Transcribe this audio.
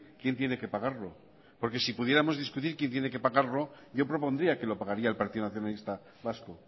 quién tiene que pagarlo porque si pudiéramos discutir quién tiene que pagarlo yo propondría que lo pagaría el partido nacionalista vasco